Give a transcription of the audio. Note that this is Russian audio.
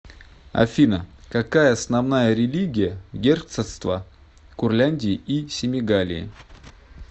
афина какая основная религия в герцогство курляндии и семигалии